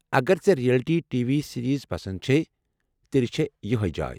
اگر ژے٘ reality T V series پسند چھیہ تیٚلہ چھےٚ یہیہ جاے۔